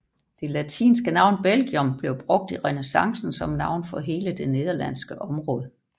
Det latinske navn Belgium blev brugt i renæssancen som navn for hele det nederlandske område